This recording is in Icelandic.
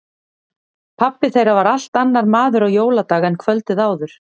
Pabbi þeirra var allt annar maður á jóladag en kvöldið áður.